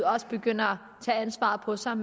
også begynder at tage ansvaret på sig